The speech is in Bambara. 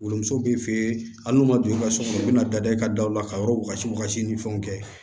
Wolomuso bɛ fɛ hali n'o ma don i ka so kɔnɔ u bɛna da i ka daw la ka yɔrɔ wagasi wakasi ni fɛnw kɛ